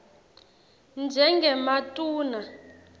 njengematuna